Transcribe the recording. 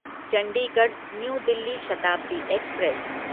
Chandigarh New Delhi Shatabdi express